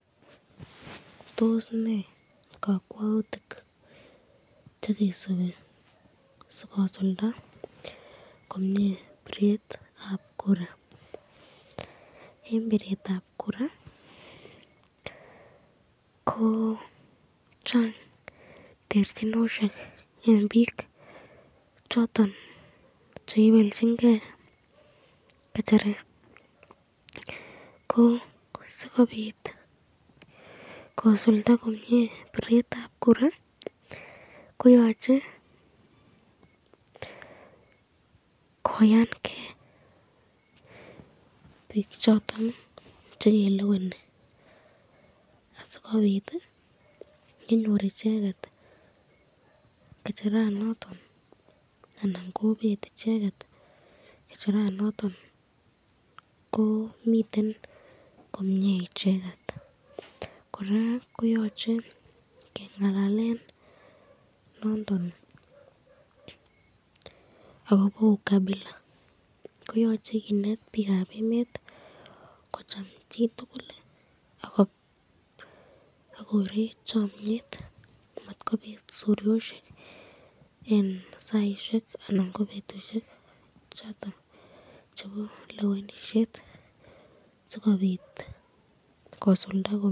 Tos nee kakwautik chekisubi sikosulda komye biretab kura, eng biretab kura ko Chang terchinosyek eng bik choton cheibelchinke kecheret, ko sikobit kosulda komye biretab kura koyache koyanke bik choton chekeleweni asikobit yenyor icheket kecheranoton anan kobet icheket kecheranoton ko miten komye icheket.